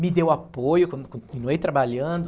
Me deu apoio, con con continuei trabalhando.